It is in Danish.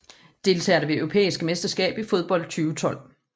Deltagere ved det europæiske mesterskab i fodbold 2012